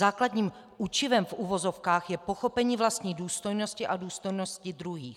Základním učivem v uvozovkách je pochopení vlastní důstojnosti a důstojnosti druhých.